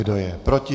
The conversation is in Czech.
Kdo je proti?